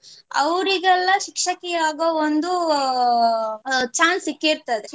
ಅವ್ರಿಗೆಲ್ಲ ಶಿಕ್ಷಕಿ ಆಗುವ ಒಂದು ಅಹ್ chance ಸಿಕ್ಕಿರ್ತದೆ.